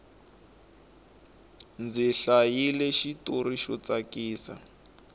ndzi hlayile xitori xo tsakisa